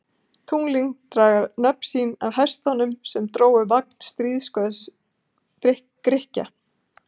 Tunglin draga nöfn sín af hestunum sem drógu vagn stríðsguðs Grikkja.